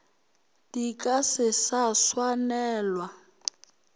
di ka se sa swanelwa